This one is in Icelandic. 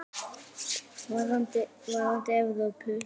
Varðandi Evrópu?